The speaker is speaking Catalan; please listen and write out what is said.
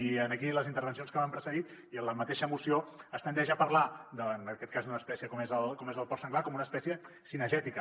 i aquí en les intervencions que m’han precedit i en la mateixa moció es tendeix a parlar davant en aquest cas d’una espècie com és el porc senglar com d’una espècie cinegètica